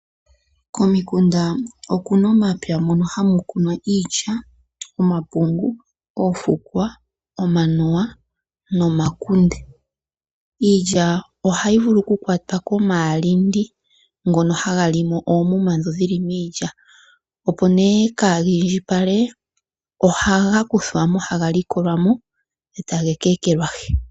Komukunda okuna omapya hono haku kunwa iilya, omapungu, oofukwa, omanuwa nomakunde. Iilya ohayi vulu oku kwatwa komaalindi ngono haga limo oomuma dhono dhili miilya opo nee kaaga indjipale ohaga kuthwa mo haga likolwa mo etaga keekelwahi.